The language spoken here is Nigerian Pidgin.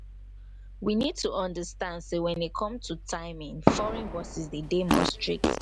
we need to understand sey when e come to timing foreign bosses de dey more strict